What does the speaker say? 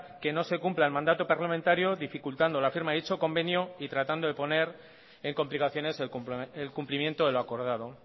que no se cumpla el mandato parlamentario dificultando la firma de dicho convenio y tratando de poner en complicaciones el cumplimiento de lo acordado